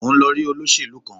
Mo ń lọ rí olóṣèlú kan